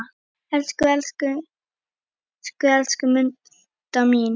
Elsku, elsku, elsku Munda mín.